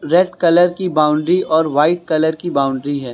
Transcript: Red colour की boundary और white colour की बाउंड्री है।